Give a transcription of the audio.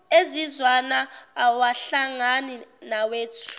ezizwana awahlangani nawethu